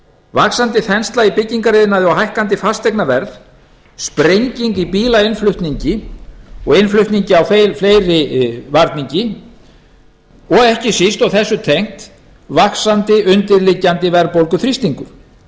vaxandi þensla í byggingariðnaði og hækkandi fasteignaverð sprenging í bílainnflutningi og innflutningi á fleiri varningi og ekki síst og þessu tengt vaxandi undirliggjandi verðbólguþrýstingur